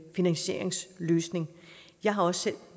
finansieringsløsning jeg har også selv